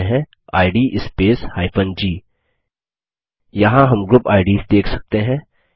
type करते हैं id space g यहाँ हम ग्रुप आईडीएस देख सकते हैं